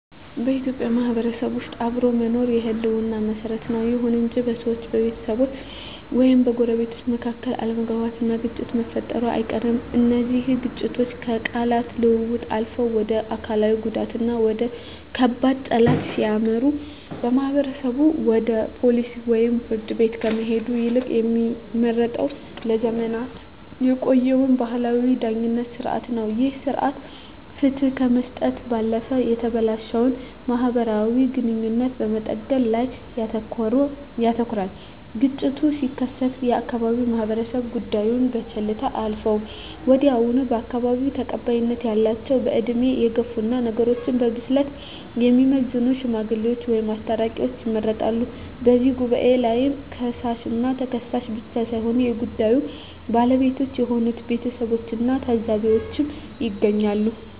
በኢትዮጵያ ማህበረሰብ ውስጥ አብሮ መኖር የህልውና መሰረት ነው። ይሁን እንጂ በሰዎች፣ በቤተሰብ ወይም በጎረቤቶች መካከል አለመግባባትና ግጭት መፈጠሩ አይቀርም። እነዚህ ግጭቶች ከቃላት ልውውጥ አልፈው ወደ አካላዊ ጉዳትና ወደ ከባድ ጠላትነት ሲያመሩ፣ ማህበረሰቡ ወደ ፖሊስ ወይም ፍርድ ቤት ከመሄድ ይልቅ የሚመርጠው ለዘመናት የቆየውን ባህላዊ የዳኝነት ሥርዓት ነው። ይህ ሥርዓት ፍትህ ከመስጠት ባለፈ የተበላሸውን ማህበራዊ ግንኙነት በመጠገን ላይ ያተኩራል። ግጭቱ ሲከሰት የአካባቢው ማህበረሰብ ጉዳዩን በቸልታ አያልፈውም። ወዲያውኑ በአካባቢው ተቀባይነት ያላቸው፣ በዕድሜ የገፉና ነገሮችን በብስለት የሚመዝኑ "ሽማግሌዎች" ወይም "አስታራቂዎች" ይመረጣሉ። በዚህ ጉባኤ ላይ ከሳሽና ተከሳሽ ብቻ ሳይሆኑ የጉዳዩ ባለቤቶች የሆኑት ቤተሰቦችና ታዘቢዎችም ይገኛሉ።